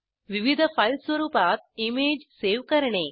विविध फाईल स्वरुपात image save करणे